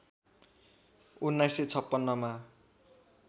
१९५६ मा